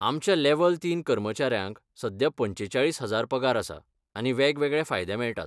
आमच्या लेव्हल तीन कर्मचाऱ्यांक सध्या पंचेचाळीस हजार पगार आसा आनी वेगवेगळे फायदे मेळटात.